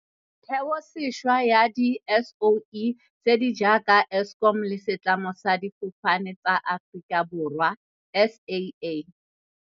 Theosešwa ya di-SOE tse di jaaka Eskom le Setlamo sa Difofane tsa Aforika Borwa, SAA..